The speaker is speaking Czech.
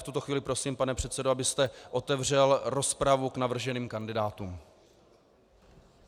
V tuto chvíli prosím, pane předsedo, abyste otevřel rozpravu k navrženým kandidátům.